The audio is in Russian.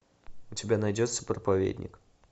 у тебя найдется проповедник